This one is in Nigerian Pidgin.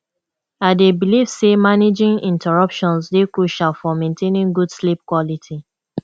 i dey believe say managing interruptions dey crucial for maintaining good sleep quality